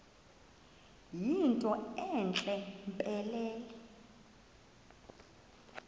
yinto entle mpelele